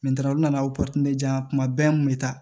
u nana aw diyan kuma bɛɛ n kun bɛ taa